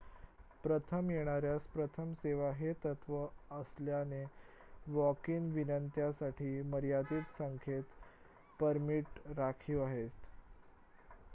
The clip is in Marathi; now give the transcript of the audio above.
प्रथम येणाऱ्यास प्रथम सेवा हे तत्त्व असल्याने वॉक-इन विनंत्यांसाठी मर्यादित संख्येत परमिट राखीव आहेत